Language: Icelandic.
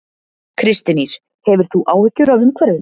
Kristín Ýr: Hefur þú áhyggjur af umhverfinu?